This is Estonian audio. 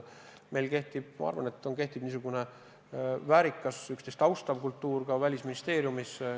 Meil Välisministeeriumis kehtib, ma arvan, niisugune väärikas, üksteist austav kultuur.